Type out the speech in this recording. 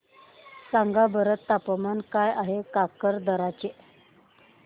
सांगा बरं तापमान काय आहे काकरदरा चे